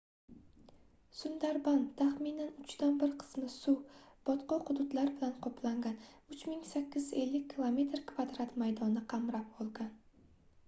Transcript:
sundarban taxminan uchdan bir qismi suv/botqoq hududlar bilan qoplangan 3850 km² maydonni qamrab olgan